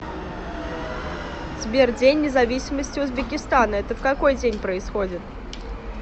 сбер день независимости узбекистана это в какой день происходит